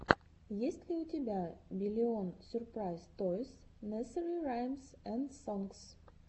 есть ли у тебя биллион сюрпрайз тойс несери раймс энд сонгс